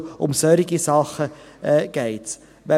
Um solche Dinge geht es.